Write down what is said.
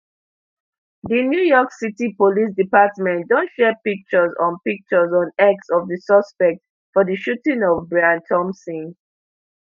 di new york city police department don share pictures on pictures on x of di suspect for di shooting of brian thompson